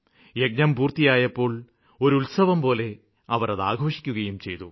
യജ്ഞം പൂര്ത്തിയായപ്പോള് ഒരു ഉത്സവംപോലെ അവര് അത് ആഘോഷിക്കുകയും ചെയ്തു